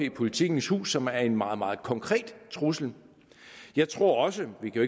jppolitikens hus som er en meget meget konkret trussel jeg tror også vi kan